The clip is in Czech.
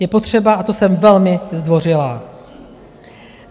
Je potřeba, a to jsem velmi zdvořilá.